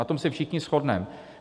Na tom se všichni shodneme.